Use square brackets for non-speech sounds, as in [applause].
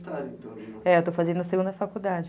[unintelligible] É, eu estou fazendo a segunda faculdade.